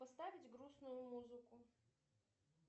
поставить грустную музыку